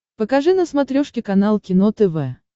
покажи на смотрешке канал кино тв